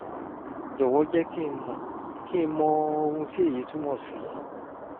jọ̀wọ́ jẹ́ kí n mọ kí n mọ ohun tí èyí túmọ̀ sí